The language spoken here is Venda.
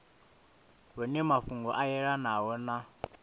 hune mafhungo a yelanaho na